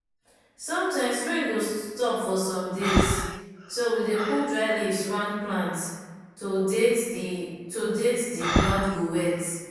sometimes rain go stop for some days so we dey put dry leaves round plant to date d to date d ground go wet.